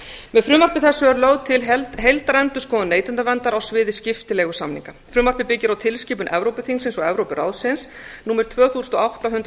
með frumvarpi þessu er lögð til heildarendurskoðun neytendaverndar á sviði skiptileigusamninga frumvarpið byggir á tilskipun evrópuþingsins og evrópuráðsins númer tvö hundruð og átta hundrað